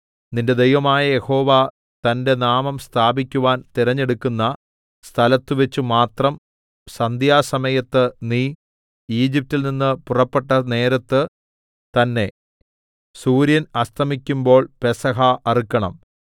നിന്റെ ദൈവമായ യഹോവ തന്റെ നാമം സ്ഥാപിക്കുവാൻ തിരഞ്ഞെടുക്കുന്ന സ്ഥലത്തുവച്ചു മാത്രം സന്ധ്യാസമയത്ത് നീ ഈജിപ്റ്റിൽ നിന്ന് പുറപ്പെട്ട നേരത്ത് തന്നെ സൂര്യൻ അസ്തമിക്കുമ്പോൾ പെസഹ അറുക്കണം